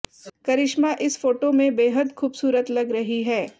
करिश्मा इस फोटो में बेहद खूबसूरत लग रही हैं